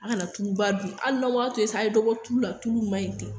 An kana tuluba dun, an ka n'a to yen sa , a ye dɔ bɔ tuli la , tulu ma .